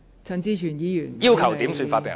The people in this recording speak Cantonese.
陳志全議員要求點算法定人數。